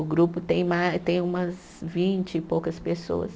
O grupo tem ma, tem umas vinte e poucas pessoas.